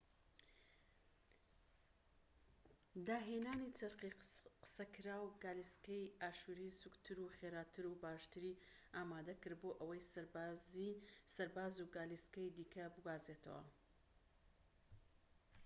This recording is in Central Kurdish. داهێنانی چەرخی قسەکراو گالیسکەی ئاشووری سووکتر و خێراتر و باشتری ئامادە کرد بۆ ئەوەی سەرباز و گالیسکەی دیکە بگوازێتەوە